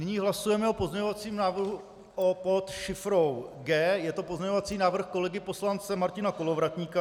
Nyní hlasujeme o pozměňovacím návrhu pod šifrou G, je to pozměňovací návrh kolegy poslance Martina Kolovratníka.